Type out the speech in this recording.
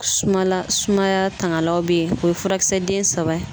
Sumala sumaya tangalaw be yen, o ye furakisɛ den saba ye.